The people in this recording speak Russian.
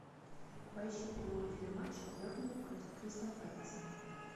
поищи прямой эфир матча бернли против кристал пэласа